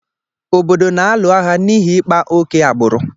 Obodo a na-alụ agha n’ihi ịkpa ókè agbụrụ